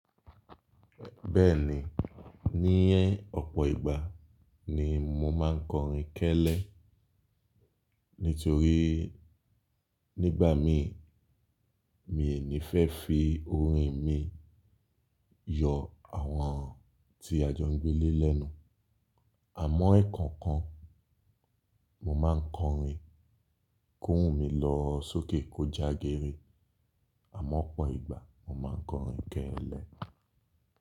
Bẹ́ẹ̀ni, níyẹn ọ̀pọ̀ ìgbà ni mo máa ń kọrin kẹ́lẹ́. Nítorí nígbà mi, mii ní fẹ́ fi orin mi yọ àwọn tí a jọ ń gbé lé lénu. Àmọ́ ẹkọ̀ọ̀kan mo máa ń kọrin kó oun mí lọ sókè kó jagere. Àmọ́ ọ̀pọ̀ ìgbà mo máa ń kọrin kẹ́lẹ́.